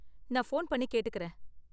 நான் ஃபோன் பண்ணி கேட்டுக்கறேன்.